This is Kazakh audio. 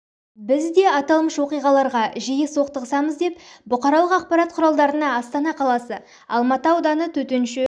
біз де атылмыш оқиғаларға жиі соқтығысамыз деп бұқаралық ақпарат құралдарына астана қаласы алматы ауданы төтенше